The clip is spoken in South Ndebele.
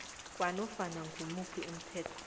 kwanofana ngimuphi umthetho